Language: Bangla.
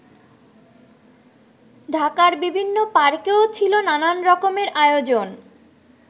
ঢাকার বিভিন্ন পার্কেও ছিল নানান রকমের আয়োজন।